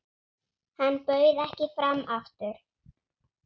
Hann bauð ekki fram aftur.